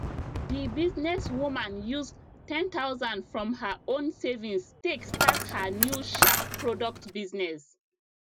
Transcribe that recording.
the business woman use 10000 from her own savings take start her new sharp product business